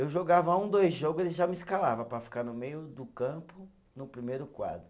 Eu jogava um, dois jogo e eles já me escalava para ficar no meio do campo no primeiro quadro.